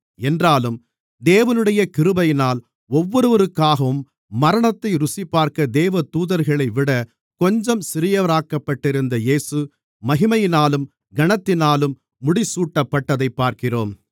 என்றாலும் தேவனுடைய கிருபையினால் ஒவ்வொருவருக்காகவும் மரணத்தை ருசிபார்க்க தேவதூதர்களைவிட கொஞ்சம் சிறியவராக்கப்பட்டிருந்த இயேசு மகிமையினாலும் கனத்தினாலும் முடிசூட்டப்பட்டதைப் பார்க்கிறோம்